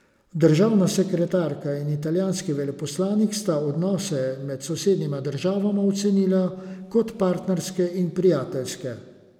Državna sekretarka in italijanski veleposlanik sta odnose med sosednjima državama ocenila kot partnerske in prijateljske.